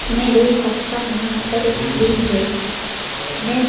मैं देख सकता हूं यहां पर एक फ्रिज हैं में--